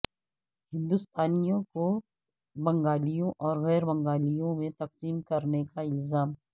ہندوستانیوں کو بنگالیوں اور غیر بنگالیوں میں تقسیم کرنے کا الزام